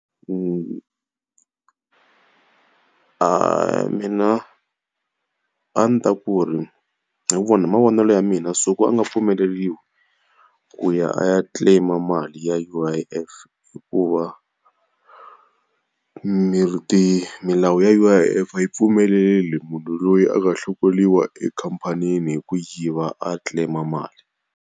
Mina a ndzi ta ku ri hi hi mavonelo ya mina a nga pfumeleriwi ku ya a ya claim-a mali ya U_I_F hikuva, milawu ya U_I_F a yi pfumeleleli munhu loyi a nga hlongoriwa ekhamphanini hi ku yiva a claim-a mali.